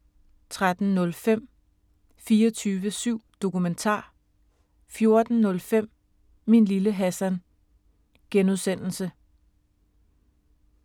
13:05: 24syv Dokumentar 14:05: Min Lille Hassan (G)